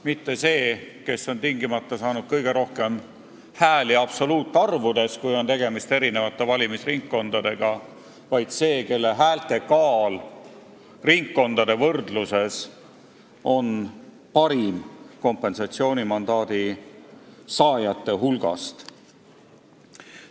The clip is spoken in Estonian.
Mitte see, kes on tingimata saanud kõige rohkem hääli absoluutarvudes, kui on tegemist eri valimisringkondadega, vaid see, kelle häälte kaal kompensatsioonimandaadi saajate hulgas on ringkondade võrdluses suurim.